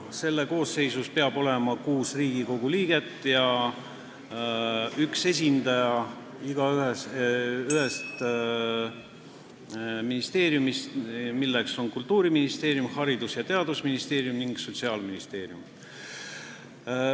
Selle koosseisus peab olema kuus Riigikogu liiget ja üks esindaja nii Kultuuriministeeriumist, Haridus- ja Teadusministeeriumist kui ka Sotsiaalministeeriumist.